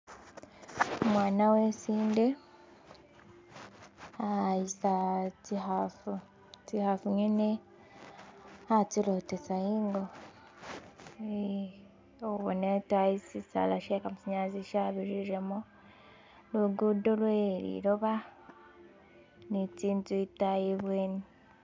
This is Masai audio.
Umwana wesinde, ahayisa tsikhafu, tsikhafu ngene ahatsilotesa ingoo, khubona itayi siisaala she kamasanyalaze kyabirilemo, lugudo lwe liloba ni tsinzu itayi ibweni